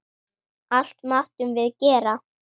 Allt máttum við gera.